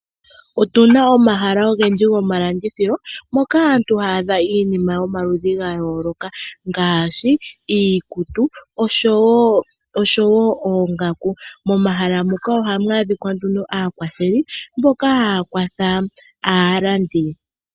Otuna omahala ogendji gomalandithilo moka aantu haya adha iinima yomaludhi ga yooloka ngaashi iikutu oshowo oongaku. Momahala muka ohamu adhika nduno aakwatheli mboka haya kwatha aalandi.